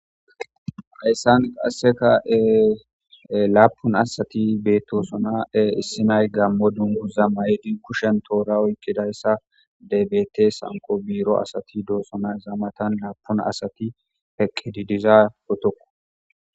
hayssan qaseka ee lappun asati bettossona ee issinay gammo dunguza mayidi kushshan toora oyiqidaysa bettes hankko biiro asati doosona izza mattan hankko asati eqqidi dizza potto.